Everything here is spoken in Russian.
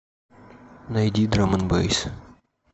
найди драм энд бэйс